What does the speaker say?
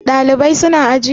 Ɗalibai su na aji?